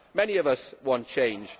Many of us want change.